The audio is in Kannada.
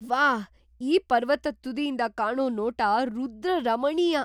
ವಾಹ್! ಈ ಪರ್ವತದ್ ತುದಿಯಿಂದ ಕಾಣೋ ನೋಟ ರುದ್ರರಮಣೀಯ!